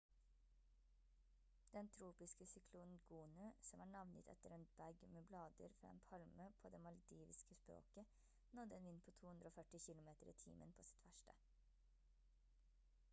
den tropiske syklonen gonu som er navngitt etter en bag med blader fra en palme på det maldiviske språket nådde en vind på 240 km i timen på sitt verste